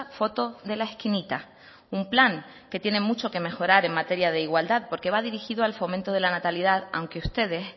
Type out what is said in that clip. foto de la esquinita un plan que tiene mucho que mejorar en materia de igualdad porque va dirigido al fomento de la natalidad aunque ustedes